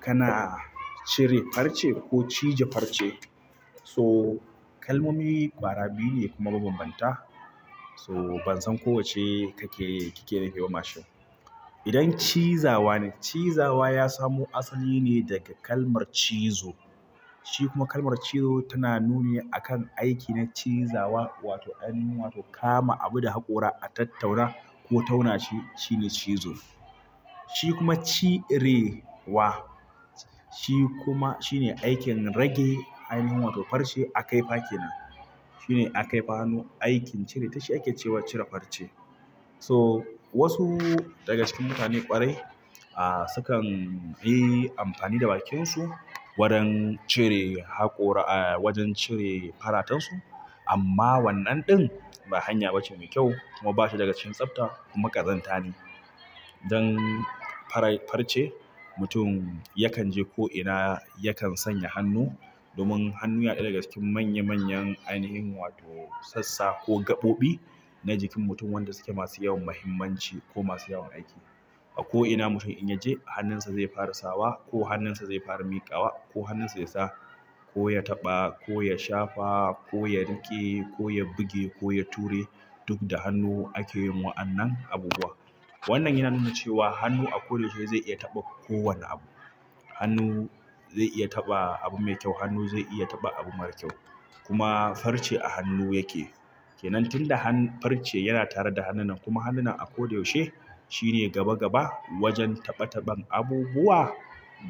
Kana cire farce ko cije farce? So kalmomi ƙwara biyu ne kuma babambanta. So bansan ko wacce kake nufi ba idan cizawane, cizawa yasamo asaline daga kalmar cizo shikuma kalmar cizo tana nuni akan aiki na cizawa wato ainihin wato kama abu da haƙora a tattauna ko tauna shi, shine cizo. Shi kuma cirewa, shi kuma shine aikin rage ainihin wa to farce a kai fa kenan. Shine a kai fanu aikin cire tashi ake cewa cire farce. So wasu daga cikin mutane ƙwarai, ah suka yi amfani da bakin su wajen cire haƙora ah wajen cire faratansu. Amma wannan ɗin ba hanya ba ce mai kyau kuma ba shi daga cikin tsafta kuma ƙazanta ne. Dan farai-farce mutum yakan je ko'ina, yakan sanya hannu domin hannu yaɗa daga cikin manya manyan ainihin wato sassa ko gaɓoɓi na jikin mutum wanda suke masu yawan muhimmanci ko masu yawan aiki. A ko'ina mutum in ya je hannunsa zai fara sawa ko hannunsa zai fara miƙawa ko hannunsa ya sa ko ya taɓa ko ya shafa ko ya riƙe ko ya buge ko ya ture duk da hannu ake yin wa'annan abubuwa. Wannan yana nuna cewa hannu a ko da yaushe zai iya taɓa ko wanne abu. Hannu zai iya taɓa abu mai kyau, hannu zai iya taɓa abu marar kyau. Kuma farce a hannu yake. Ke nan tunda hannu farce yana tare da hannun nan kuma hannun a ko da yaushe shine gaba gaba wajen taɓa taɓan abubuwa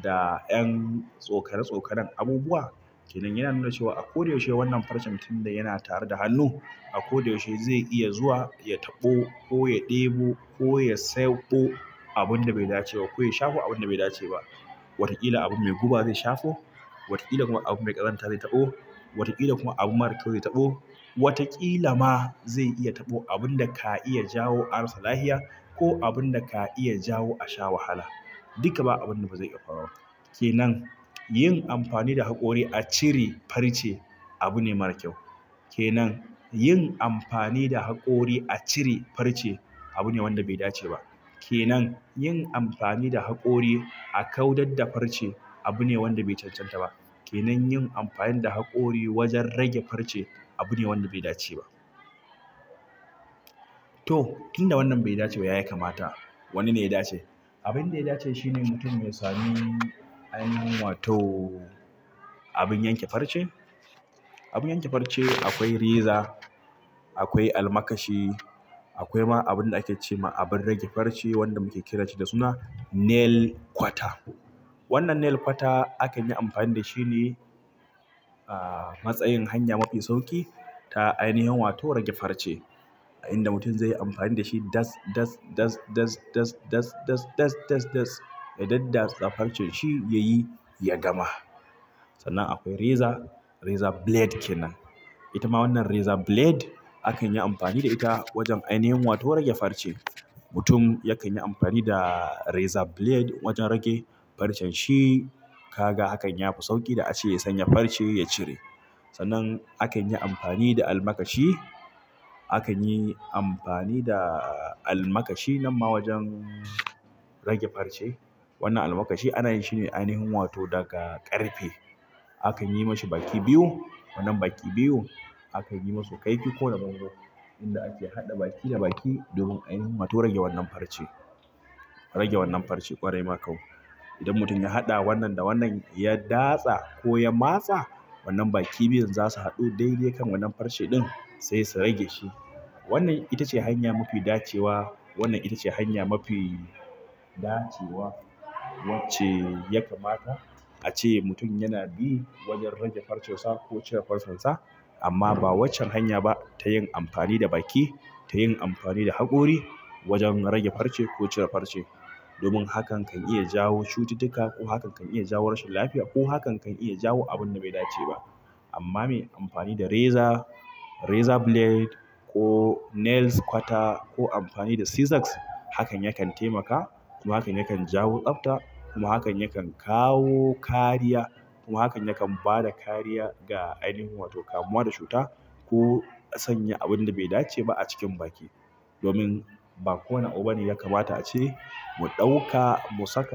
da ƴan tsokare tsokaren abubuwa. Ke nan yana nuna cewa a ko da yaushe wannan farcen tunda yana tare da hannu, a ko da yaushe zai iya zuwa ya taɓo ko ya ɗebo ko ya sayabo abun da bai dace ba ko ya shafa abun da bai dace ba. Wataƙila abu mai guba zai shafo. Wataƙila kuma abu mai ƙazanta zai taɓo. Wataƙila kuma abu marar kyau zai taɓo. Wataƙila ma zai iya taɓo abun da ka iya jawo arasa lafiya ko abun da ka iya jawo a sha wahala. Duka ba abun da bazai iya farawa. Ke nan yin amfani da haƙori a cire farce abu ne marar kyau. Ke nan yin amfani da haƙori a cire farce abu ne wanda bai dace ba. Ke nan yin amfani da haƙori a kaudadda farce abu ne wanda bai cancanta ba. Ke nan yin amfani da haƙori wajen rage farce abu ne wanda bai dace ba. To, tunda wannan bai dace ba ya yi kamata. Wanne ne ya dace? Abin da ya dace shine mutum ya sami ainihin wato abun yanke farce. Abun yanke farce akwai reza, akwai almakashi, akwai ma abin da ake ce ma abin rage farce wanda muke kiran shi da suna nail kwata. Wanna nail kwata akan yi amfani da shi ne a matsayin hanya mafi sauƙi ta ainihin wato rage farce. A inda mutum zai yi amfani da shi dats, dats, dats, dats, dats, dats, dats, dats, dats, dats ya daddatsa farcen shi ya yi ya gama. Sannan akwai reza, razor blade kenan. Ita ma wannan razor blade akan yi amfani da ita wajen ainihin wato rage farce. Mutum yakan yi amfani da razor blade wajen rage farcen shi. Ka ga hakan ya fi sauƙi da ace sanya farce ya cire. Sannan akan yi amfani da almakashi, akan yi amfani da almakashi nan ma wajen rage farce. Wannan almakashi ana yin shi ne ainihin wato daga ƙarfe. Akan yi mashi baki biyu. Wannan baki biyun akanyi masu kaifi koda bango inda ake haɗa baki da baki domin ainihin wato rage wannan farce idan mutum ya haɗa wannan da wannan ya datsa ko ya matsa wannan baki biyun za su haɗu daidai kan wannan farce ɗin sai su rage shi. Wannan ita ce hanya mafi dacewa. Wannan ita ce hanya mafi dacewa wacce ya kamata a ce mutum yana bi wajen rage farce sa ko cire farce sa. Amma ba waccan hanya ba ta yin amfani da baki, ta yin amfani da haƙori wajen rage farce ko cire farce. Domin hakan kan iya jawo cututtuka ko hakan kan iya jawo rashin lafiya ko hakan kan iya jawo abun da bai dace ba. Amma muyi amfani da reza, razor blade ko nail kwater ko anfani da scissors hakan yakan taimaka kuma hakan yakan jawo tsabta kuma hakan yakan kawo kariya kuma hakan yakan bada kariya daga ainihin wato kamuwa daga cuta so sanya abunda bai daceba acikin baki domin ba ko wane abu ne ya kamata a ce mu ɗauka, mu saka.